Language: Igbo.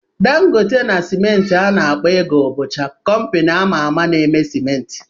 Dangote na simenti a na-akpọ "Eagle" bụcha kompini a ma-ama n'eme simenti.